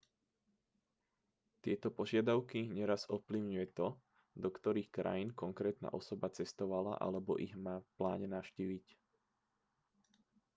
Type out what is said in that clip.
tieto požiadavky neraz ovplyvňuje to do ktorých krajín konkrétna osoba cestovala alebo ich má v pláne navštíviť